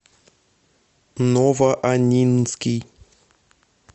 новоаннинский